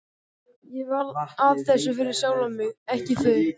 Ég var að þessu fyrir sjálfan mig, ekki þau.